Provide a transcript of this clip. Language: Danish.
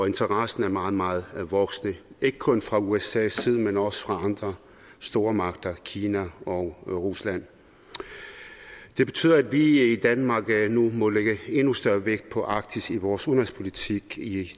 interessen er meget meget voksende ikke kun fra usas side men også fra andre stormagter kina og rusland det betyder at vi i danmark nu må lægge endnu større vægt på arktis i vores udenrigspolitik i